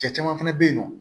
Cɛ caman fana bɛ yen nɔ